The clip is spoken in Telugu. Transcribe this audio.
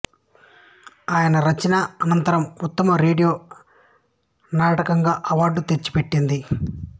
ఆయన రచన అనంతం ఉత్తమ రేడియో నాటకంగా అవార్డును తెచ్చిపెట్టింది